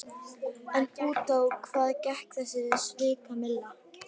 En út á hvað gekk þessi svikamylla?